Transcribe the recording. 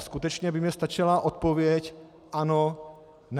A skutečně by mně stačila odpověď ano, ne.